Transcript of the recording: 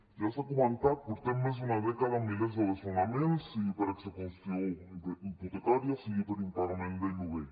ja s’ha comentat portem més d’una dècada amb milers de desnonaments sigui per execució hipotecària sigui per impagament del lloguer